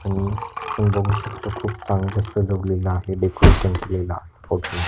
हम आपण बघू शकतो खुप चांगल सजवलेल आहे डेकोरेशन केलेल फोटो मध्ये.